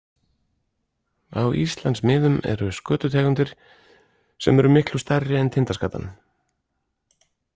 Á Íslandsmiðum eru skötutegundir sem eru miklu stærri en tindaskatan.